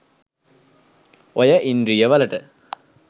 ඔය ඉන්ද්‍රිය වලට